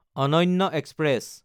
অনন্য এক্সপ্ৰেছ